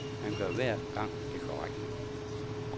Han gør hver gang det korrekte.